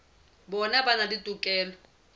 bona ba na le tokelo